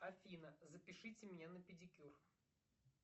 афина запишите меня на педикюр